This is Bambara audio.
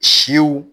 Siw